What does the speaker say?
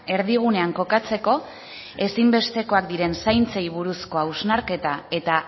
erdigunean kokatzeko ezinbestekoak diren zaintzei buruzko hausnarketa eta